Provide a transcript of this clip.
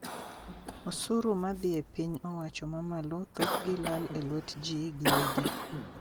Osuru madhi e piny owacho mamalo thoth gi lal e lwet jii gi wegi